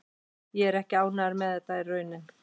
Ég er ekki ánægður en þetta er raunin.